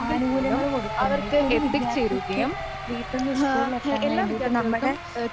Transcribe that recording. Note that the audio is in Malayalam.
ആനുകൂല്യങ്ങള് കൊടുക്കണ്ട്. ഇപ്പോ ഒരു വിദ്യാർത്ഥിക്ക് വീട്ടീന്ന് സ്കൂളിലെത്താൻ വേണ്ടീട്ട് നമ്മടെ